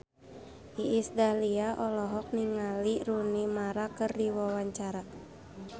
Iis Dahlia olohok ningali Rooney Mara keur diwawancara